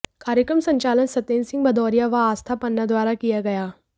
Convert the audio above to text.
कार्यक्रम संचालन सतेन्द्र सिंह भदौरिया व आस्था पन्ना द्वारा किया गया